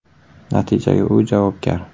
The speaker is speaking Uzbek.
Natijaga u javobgar.